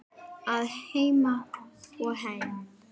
Að heiman og heim.